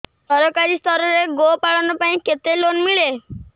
ସରକାରୀ ସ୍ତରରେ ଗୋ ପାଳନ ପାଇଁ କେତେ ଲୋନ୍ ମିଳେ